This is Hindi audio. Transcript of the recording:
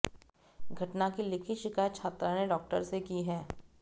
घटना की लिखित शिकायत छात्रा ने प्रॉक्टर से की है